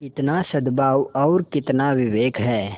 कितना सदभाव और कितना विवेक है